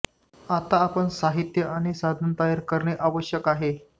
आता आपण साहित्य आणि साधने तयार करणे आवश्यक आहे